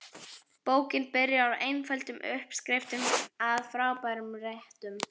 Bókin byrjar á einföldum uppskriftum að frábærum réttum.